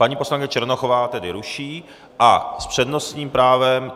Paní poslankyně Černochová tedy ruší a s přednostním právem...